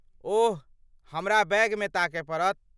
ओह, हमरा बैगमे ताकय पड़त।